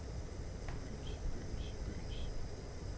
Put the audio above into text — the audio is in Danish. byens byens byens